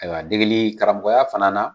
Ayiwa degeli karamɔgɔya fana na